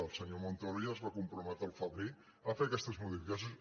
el senyor montoro ja es va comprometre al febrer a fer aquestes modificacions